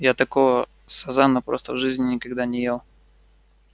я такого сазана просто в жизни никогда не ел